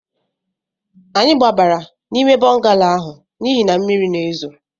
Anyị gbabara n'ime bọngalo ahụ n'ihi na mmiri na-ezo